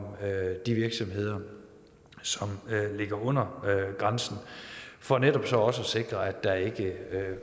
de virksomheder som ligger under grænsen for netop så også at sikre at der ikke